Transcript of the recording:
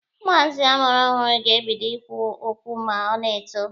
Ụmụazị amụrụ ọhụrụ ga-ebido ikwu okwu ma ọ na-eto.